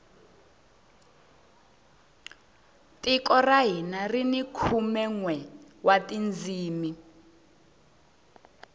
tiko ra hina rini khume nwe wa tindzimi